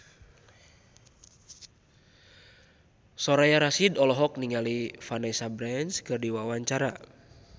Soraya Rasyid olohok ningali Vanessa Branch keur diwawancara